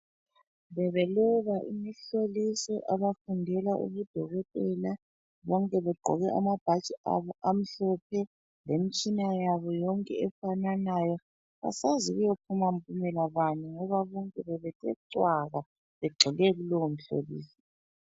Bebeloba imihloliso abafundela ubudokotela bonke begqoke amabhatshi abo amhlophe lemitshina yabo yonke efananayo asazi kuyo phuma mpumela bani ngoba bonke bebethe cwaka begxile kulowo mhloliso.